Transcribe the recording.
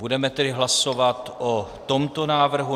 Budeme tedy hlasovat o tomto návrhu.